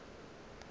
ge a re ke a